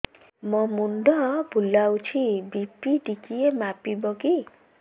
ମୋ ମୁଣ୍ଡ ବୁଲାଉଛି ବି.ପି ଟିକିଏ ମାପିବ କି